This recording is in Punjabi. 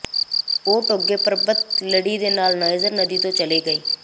ਉਹ ਟੋਗੋ ਪਰਬਤ ਲੜੀ ਦੇ ਨਾਲ ਨਾਈਜਰ ਨਦੀ ਤੋਂ ਚਲੇ ਗਏ